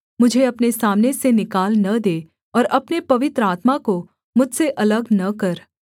मुझे अपने सामने से निकाल न दे और अपने पवित्र आत्मा को मुझसे अलग न कर